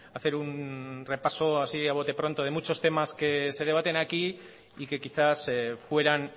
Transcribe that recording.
hacer un repaso así a bote de pronto de muchos temas que se debaten aquí y que quizás fueran